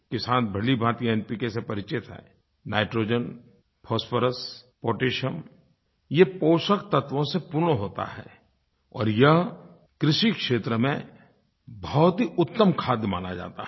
किसान भलीभाँति एनपीके से परिचित हैं नाइट्रोजन फॉस्फोरस पोटैशियम ये पोषक तत्वों से पूर्ण होता है और यह कृषि क्षेत्र में बहुत ही उत्तम खाद माना जाता है